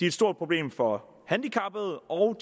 et stort problem for handicappede og